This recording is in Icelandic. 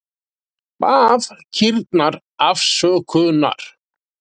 Bað kýrnar afsökunar